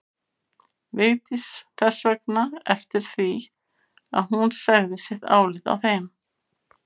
Vigdís þess vegna eftir því að hún segði sitt álit á þeim.